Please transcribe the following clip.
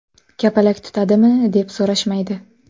Kapalak tutadimi?” deb so‘rashmaydi.